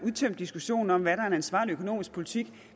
udtømt diskussionen om er en ansvarlig økonomisk politik